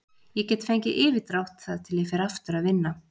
Ég get fengið yfirdrátt þar til ég fer aftur að vinna.